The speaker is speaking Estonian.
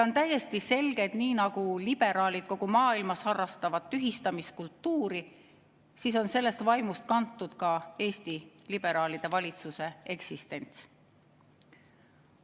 On täiesti selge, et nii nagu liberaalid kogu maailmas harrastavad tühistamiskultuuri, on sellest vaimust kantud ka Eesti liberaalide valitsuse eksistents.